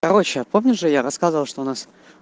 короче помниш что я рассказывал что у нас